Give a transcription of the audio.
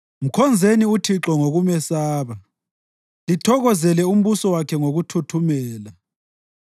Mkhonzeni uThixo ngokumesaba, lithokozele umbuso wakhe ngokuthuthumela.